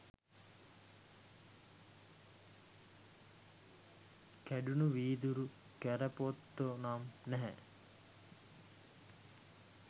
කැඩුණු වීදුරු කැරපොත්තො නම් නැහැ.